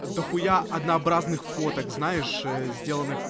дохуя однообразных фоток знаешь ээ сделанных